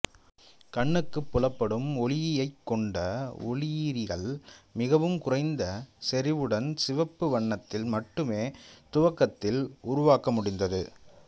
கண்ணுக்குப் புலப்படும் ஒளியைக் கொண்ட ஒளியீரிகள் மிகவும் குறைந்த செறிவுடன் சிவப்பு வண்ணத்தில் மட்டுமே துவக்கத்தில் உருவாக்க முடிந்தது